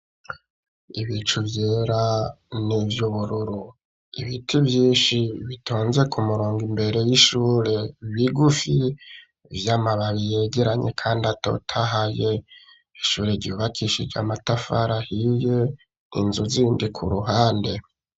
Ibicu vyera n'ivyubururu ibiti vyinshi bitonze ku murongo imbere y'ishure bigufi vy'amababi yegeranye kandi atotahaye ishure ryubakishije amatafari ahiye inzu zindi ku ruhande